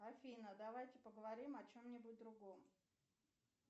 афина давайте поговорим о чем нибудь другом